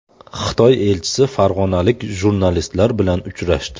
Xitoy elchisi farg‘onalik jurnalistlar bilan uchrashdi.